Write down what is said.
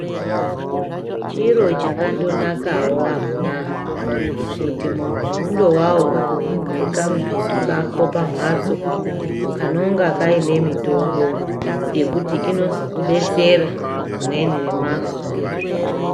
Chiro chakandonakao amunaa kuti munthu undovao nekamubhedhu kako pamhatso kanonga kaine mitombo yekuti inozokudetsera rimweni ramazuwa.